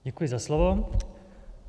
Děkuji za slovo.